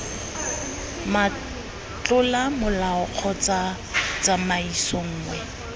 motlola molao kgotsa tsamaiso nngwe